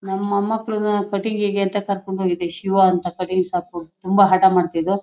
ನಮ್ ಮೊಮ್ಮಕ್ಕಳನ್ನ ಕಟಿಂಗ್ ಗೆ ಅಂತ ಕರ್ಕೊಂಡು ಹೋಗಿದ್ವಿ ಶಿವ ಅಂತ ಕಟಿಂಗ್ ಶಾಪ್ ಗಳ್ ತುಂಬಾ ಹಠಮಾಡ್ತಿದ್ವು.